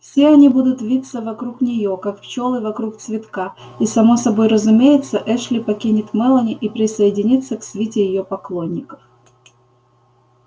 все они будут виться вокруг нее как пчелы вокруг цветка и само собой разумеется эшли покинет мелани и присоединится к свите её поклонников